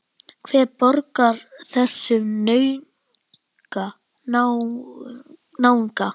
Hver borgar þessum náunga?